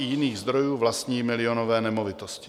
i jiných zdrojů vlastní milionové nemovitosti.